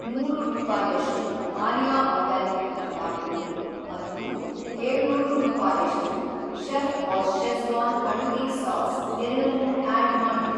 ನೂರ ರೂಪಾಯಷ್ಟು ಆರ್ಯ ಆರ್ಗ್ಯಾನಿಕ್ ತ್ರಿಫಲಾ ಪುಡಿ ಮತ್ತು ಏಳುನೂರು ರೂಪಾಯಷ್ಟು ಚೆಫ್‌ಬಾಸ್ ಷೆಝ಼್ವಾನ್ ಅಡುಗೆ ಸಾಸ್ ಎರಡನ್ನೂ ಆಡ್‌ ಮಾಡು.